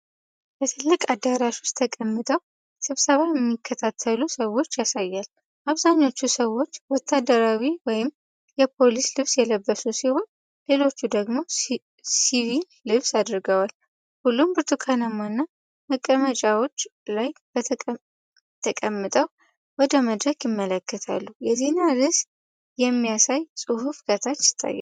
በትልቅ አዳራሽ ውስጥ ተቀምጠው ስብሰባ የሚከታተሉ ሰዎችን ያሳያል። አብዛኞቹ ሰዎች ወታደራዊ ወይም የፖሊስ ልብስ የለበሱ ሲሆን፤ ሌሎቹ ደግሞ ሲቪል ልብስ አድርገዋል። ሁሉም በብርቱካናማ መቀመጫዎች ላይ ተቀምጠው ወደ መድረክ ይመለከታሉ። የዜና ርዕስ የሚያሳይ ጽሑፍ ከታች ይታያል።